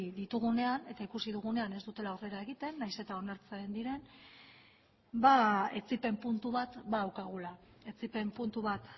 ditugunean eta ikusi dugunean ez dutela aurrera egiten nahiz eta onartzen diren ba etsipen puntu bat badaukagula etsipen puntu bat